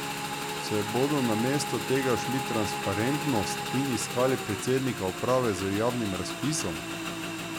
Se bodo namesto tega šli transparentnost in iskali predsednika uprave z javnim razpisom?